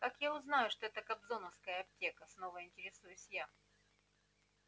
как я узнаю что это кобзоновская аптека снова интересуюсь я